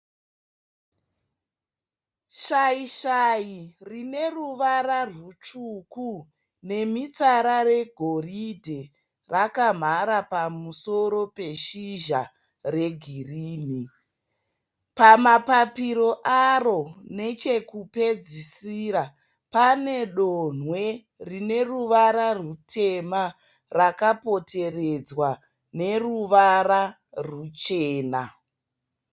Shaishai rine ruvara rutsvuku nemitsara yegoridhe rakamhara pamusoro peshizha regirinhi. Pamapapiro aro nechekupedzisira pane donwe rine ruvara rutema rakapoteredzwa neruvara ruchena.